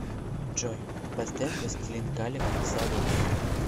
джой поставь властелин калек салуки